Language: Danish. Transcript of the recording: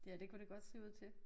Ja det kunne det godt se ud til